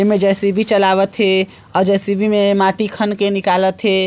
इनमें जे_सी_बी चलावत हे आर जे_सी_बी में माटी खन के निकलत हे।